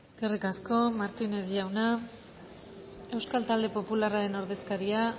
eskerrik asko martínez jauna euskal talde popularren ordezkaria